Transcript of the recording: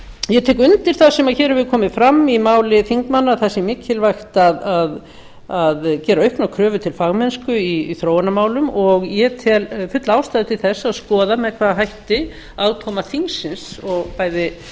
ég tek undir það sem hér hefur komið fram í máli þingmanna að mikilvægt sé að gera auknar kröfur til fagmennsku í þróunarmálum og ég tel fulla ástæðu til að skoða með hvaða hætti aðkoma þingsins og bæði